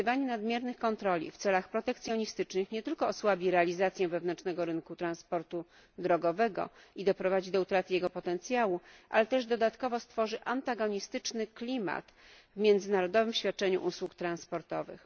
Wykorzystywanie nadmiernych kontroli w celach protekcjonistycznych nie tylko osłabi realizację wewnętrznego rynku transportu drogowego i doprowadzi do utraty jego potencjału, ale też dodatkowo stworzy antagonistyczny klimat w międzynarodowym świadczeniu usług transportowych.